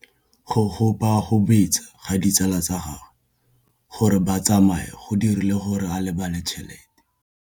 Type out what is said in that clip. Go gobagobetsa ga ditsala tsa gagwe, gore ba tsamaye go dirile gore a lebale tšhelete.